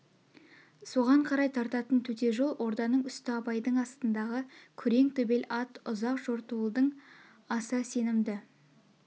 соған қарай тартатын төте жол орданың үсті абайдың астындағы күрең төбел ат ұзақ жортуылдың аса сенімді